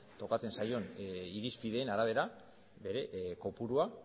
tokatzen zaion irizpideen arabera bere kopurua